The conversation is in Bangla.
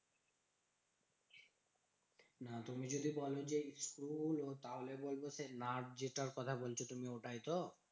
না, তুমি যদি বোলো যে স্ক্রুগুলো? তাহলে বলবো সেই নাট যেটার কথা বলছি তুমি ওটাই তো?